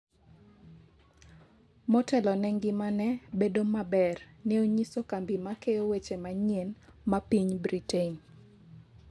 motelo ne ngimane bedo maber," ne onyiso kambi ma keyo weche manyien ma piny Britain